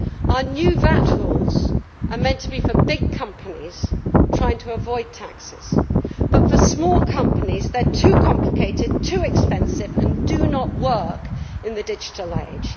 Our new VAT rules are meant to be for big companies trying to avoid taxes but, for small companies, they are too complicated, too expensive and do not work in the digital age.